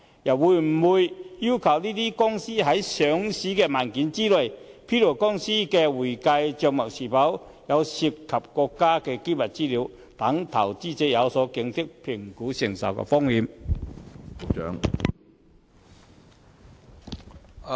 政府會否要求該等公司在上市文件中披露公司的會計帳目是否涉及國家機密資料，讓投資者有所警惕，評估所能承受的風險呢？